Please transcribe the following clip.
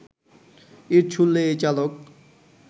ইট ছুড়লে এই চালক